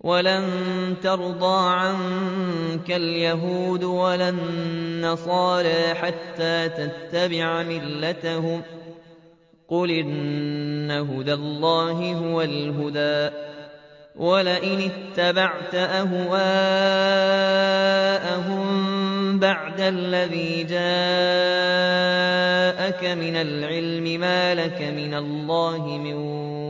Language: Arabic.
وَلَن تَرْضَىٰ عَنكَ الْيَهُودُ وَلَا النَّصَارَىٰ حَتَّىٰ تَتَّبِعَ مِلَّتَهُمْ ۗ قُلْ إِنَّ هُدَى اللَّهِ هُوَ الْهُدَىٰ ۗ وَلَئِنِ اتَّبَعْتَ أَهْوَاءَهُم بَعْدَ الَّذِي جَاءَكَ مِنَ الْعِلْمِ ۙ مَا لَكَ مِنَ اللَّهِ مِن